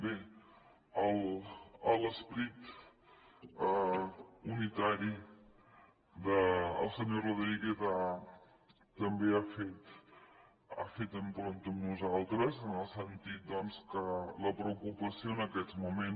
bé l’esperit unitari del senyor rodríguez també ha fet empremta en nosaltres en el sentit doncs que la preocupació en aquests moments